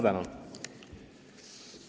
Tänan!